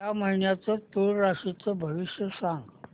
या महिन्याचं तूळ राशीचं भविष्य सांग